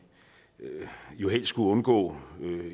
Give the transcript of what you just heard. jo helst skulle undgå